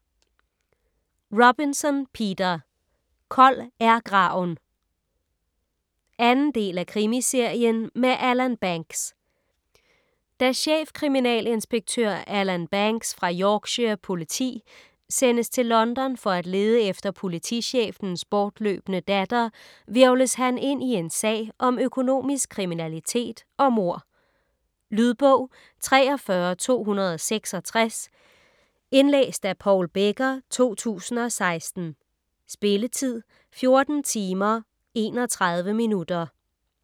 Robinson, Peter: Kold er graven 2. del af Krimiserien med Alan Banks. Da chefkriminalinspektør Alan Banks fra Yorkshire Politi sendes til London for at lede efter politichefens bortløbne datter, hvirvles han ind i en sag om økonomisk kriminalitet og mord. Lydbog 43266 Indlæst af Paul Becker, 2016. Spilletid: 14 timer, 31 minutter.